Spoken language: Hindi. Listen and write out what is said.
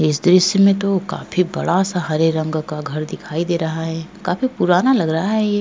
इस दृश्य में तो काफी बड़ा सा हरे रंग का घर दिखाई दे रहा है काफी पुराना लग रहा है ये।